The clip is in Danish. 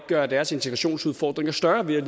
gøre deres integrationsudfordringer større ved at